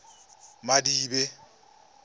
madibe